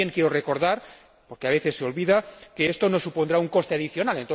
También quiero recordar, porque a veces se olvida, que esto no supondrá un coste adicional.